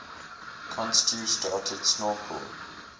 cousteau started snorkel